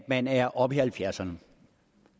man er oppe i halvfjerdserne